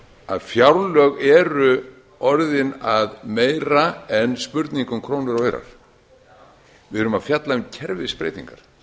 að fjárlög eru orðin að meira en spurningu um krónur og aura við erum að fjalla um kerfisbreytingar